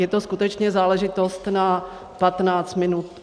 Je to skutečně záležitost na 15 minut.